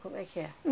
Como é que é?